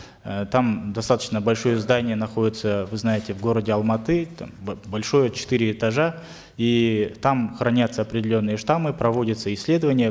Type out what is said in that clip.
э там достаточно большое здание находится вы знаете в городе алматы там большое четыре этажа и там хранятся определенные штаммы проводятся исследования